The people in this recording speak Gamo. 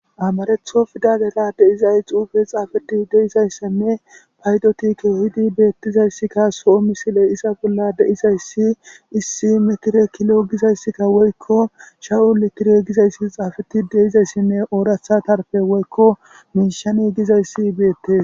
Amaratho pidale de'iza xufe xafetidi de'izaysanne paydoti kehidi betizaysi soo misiley izza bolla de'izaysi issi metire kilo gizaysika woykon shahu litire izaysi xafetidi de'izaysine oratha karde woykon mishan gizaysi betes